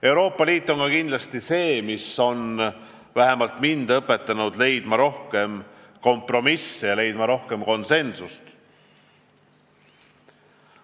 Euroopa Liit on ka kindlasti miski, mis vähemalt mind on õpetanud leidma rohkem kompromisse ja rohkem konsensust.